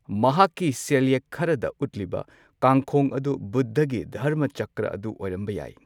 ꯃꯍꯥꯛꯀꯤ ꯁꯦꯜꯌꯦꯛ ꯈꯔꯗ ꯎꯠꯂꯤꯕ ꯀꯥꯡꯈꯣꯡ ꯑꯗꯨ ꯕꯨꯗ꯭ꯙꯒꯤ ꯙꯔꯃꯆꯛꯀ꯭ꯔꯥ ꯑꯗꯨ ꯑꯣꯏꯔꯝꯕ ꯌꯥꯏ꯫